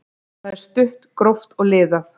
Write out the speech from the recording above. Það er stutt, gróft og liðað.